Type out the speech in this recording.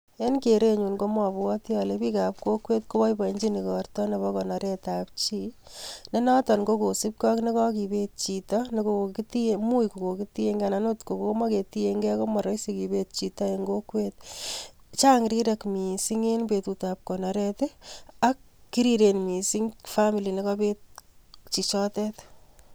En kerenyu komabwoti ale bikab kokwet koboiboenchin igorto nebo konoretab chi , ne noton ko kosupgei ak nekakibet chito ne much kokitiengei, anan akot ko komakitiengei ko maraisi ngibet chito eng kokwet. Chang rirek mising, eng betutab konoret, ak kiriren mising[cs[family[c] Nekaibet chichotet.